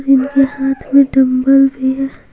उनके के हाथ में डंबल भी है।